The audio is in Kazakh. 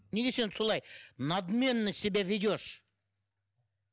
неге сен солай надменно себя ведешь